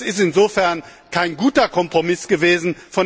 Das ist insofern kein guter Kompromiss gewesen.